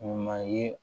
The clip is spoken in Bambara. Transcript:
O ma ye